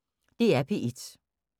DR P1